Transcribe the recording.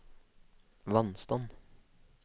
vannstand